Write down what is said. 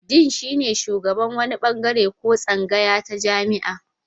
Din shine shugaban wani bangare ko tsangaya ta jami'a.